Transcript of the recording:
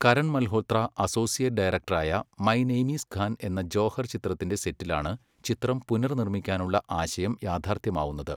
Karan Malhotra associate ഡയറക്ടറായ my name is Khan എന്ന ജോഹർ ചിത്രത്തിൻ്റെ സെറ്റിലാണ് ചിത്രം പുനർനിർമ്മിക്കാനുള്ള ആശയം യാഥാർത്ഥ്യമാവുന്നത്.